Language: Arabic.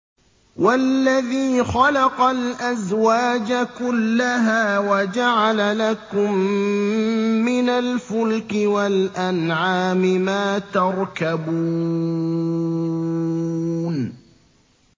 وَالَّذِي خَلَقَ الْأَزْوَاجَ كُلَّهَا وَجَعَلَ لَكُم مِّنَ الْفُلْكِ وَالْأَنْعَامِ مَا تَرْكَبُونَ